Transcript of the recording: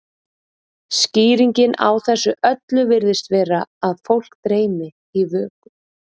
skýringin á þessu öllu virðist vera að fólk dreymi í vöku